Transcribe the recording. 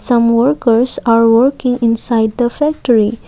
some workers are working inside the factory.